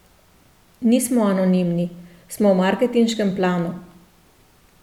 Nismo anonimni, smo v marketinškem planu.